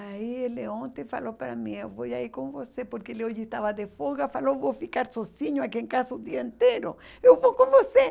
Aí ele ontem falou para mim, eu vou aí com você, porque ele hoje estava de folga, falou, vou ficar sozinho aqui em casa o dia inteiro, eu vou com você.